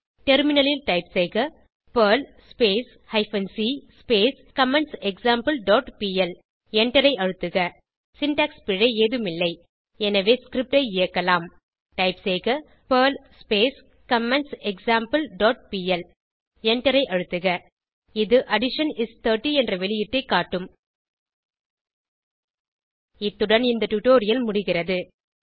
டெர்மினலில் டைப் செய்க Perl hyphen c comments example dot P L எண்டரை அழுத்துக சின்டாக்ஸ் பிழை ஏதும் இல்லை எனவே ஸ்கிரிப்ட் ஐ இயக்கலாம் டைப் செய்க பெர்ல் கமெண்ட்செக்ஸாம்பிள் டாட் பிஎல் எண்டரை அழுத்துக இது அடிஷன் இஸ் 30 என்ற வெளியீட்டைக் காட்டும் இத்துடன் இந்த டுடோரியல் முடிகிறது